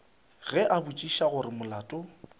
ge a botšiša gore molato